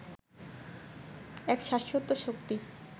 এক শাশ্বত শক্তি